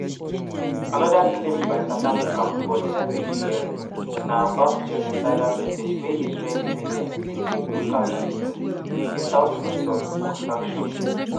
anoda claim by south africa for di icj hearing na about “genocidal messages wey israeli media bin dey broadcast routinely - witout censure or sanction”.